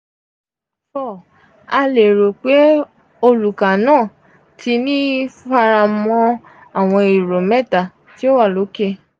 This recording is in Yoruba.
4. a lero pe oluka naa ti ni faramo awọn ero mẹta ti o wa loke.